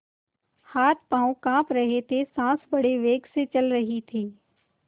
हाथपॉँव कॉँप रहे थे सॉँस बड़े वेग से चल रही थी